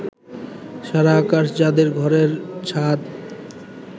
সারা আকাশ যাদের ঘরের ছাদ